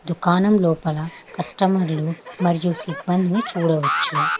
దుకాణం లోపల కస్టమర్లు మరియు సిబ్బందిని చూడవచ్చు.